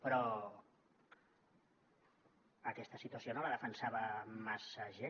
però aquesta situació no la defensava massa gent